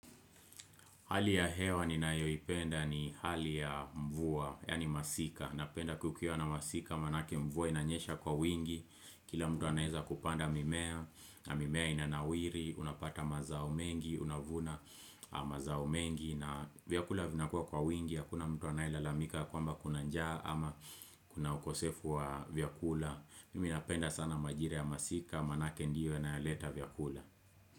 Hali ya hewa ni nayoipenda ni hali ya mvua, yani masika. Napenda kukuwa na masika, maanake mvua inanyesha kwa wingi. Kila mtu anaeza kupanda mimea, na mimea inanawiri, unapata mazao mengi, unavuna mazao mengi. Na vyakula vinakuwa kwa wingi, hakuna mtu anaelalamika kwamba kuna njaa ama kuna ukosefu wa vyakula. Mimi na penda sana majira ya masika, manake ndiyo inaeleta vyakula.